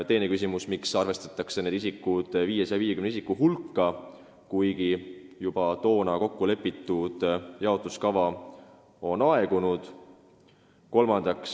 Teine küsimus: miks arvestatakse need isikud 550 isiku hulka, kuigi toona kokkulepitud jaotuskava on aegunud?